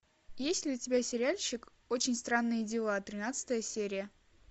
есть ли у тебя сериальчик очень странные дела тринадцатая серия